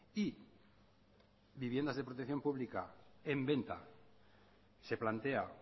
y viviendas de protección pública en venta se plantea